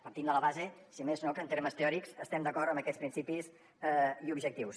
partim de la base si més no que en termes teòrics estem d’acord en aquests principis i objectius